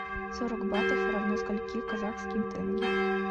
сорок батов равно скольки казахским тенге